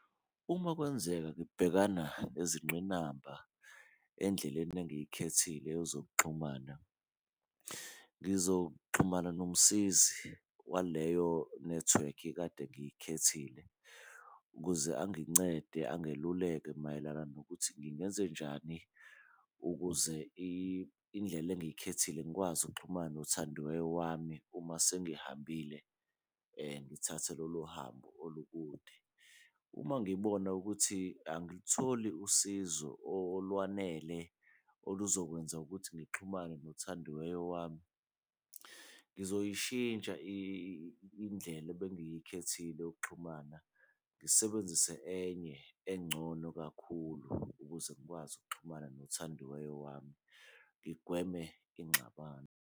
Uma kwenzeka ngibhekana nezingqinamba endleleni engiyikhethile yezokuxhumana, ngizoxhumana nomsizi waleyo nethiwekhi kade ngiyikhethile ukuze angincede, angeluleke mayelana nokuthi ngingenze njani ukuze indlela engiyikhethile ngikwazi ukuxhumana nothandiweyo wami uma sengihambile ngithathe lolo hambo olukude. Uma ngibona ukuthi angilitholi usizo olwanele oluzokwenza ukuthi ngixhumane nothandiweyo wami, ngizoyishintsha indlela ebengiyikhethile yokuxhumana ngisebenzise enye engcono kakhulu ukuze ngikwazi ukuxhumana nothandiwe wami ngigweme ingxabano.